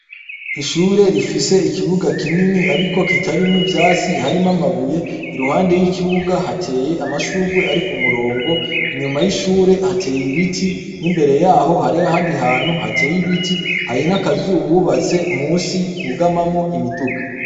Ishure rifise ikibuga kinini, ariko kitarimwo ivyatsi harimo amabuye i ruhande y'ikibuga hateye amashurwe ari ku murongo inyuma y'ishure hateye ibiti n'imbere yaho hareho handi hantu hateye ibiti harin' akazububatse musi hugamamwo imiduga.